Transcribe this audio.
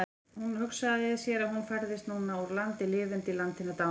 Hún hugsaði sér að hún færðist núna úr landi lifenda í land hinna dánu.